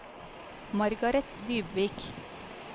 Margareth Dybvik